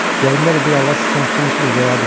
Yadımdadır bir arvad sıçan tutan kimi verərdi mənə.